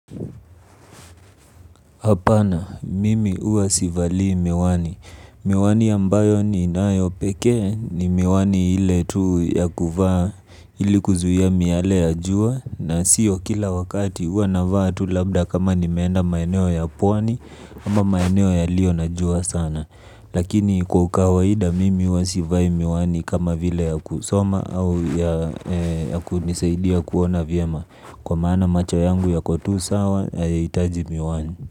Hapana, mimi huwa sivalii miwani. Miwani ambayo ninayo pekee ni miwani hile tu ya kuvaa hili kuzuia miyae ya jua na siyo kila wakati huwa na vaa tu labda kama ni meenda maeneo ya pwani ama maeneo yalio na jua sana. Lakini kwa ukawaida mimi huwa sivai miwani kama vile ya kusoma au ya kunisaidia kuona vyema kwa maana macho yangu yako tu sawa hayaitaji miwani.